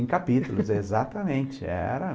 Em capítulos, exatamente, era